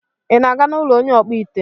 Ị na-aga n'ụlọ onye ọkpụite?